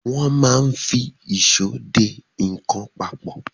Wọ́n máa ń fi ìṣó de nǹkan papọ̀.